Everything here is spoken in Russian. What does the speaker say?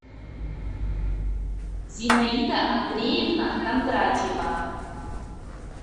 зинаида андреевна кондратьева